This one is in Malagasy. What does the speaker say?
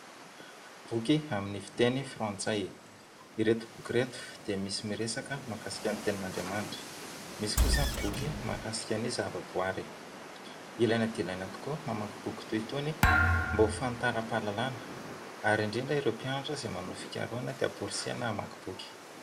Boky amin'ny fiteny frantsay ireto boky ireto dia misy miresaka mahakasika ny tenin'Andriamanitra misy kosa ny boky mahakasika ny zavaboary. Ilaina dia ilaina tokoa ny mamaky boky toy itony mba ho fanitaram-pahalalana ary indrindra ireo mpianatra manao fikarohana dia amporisihina hamaky boky.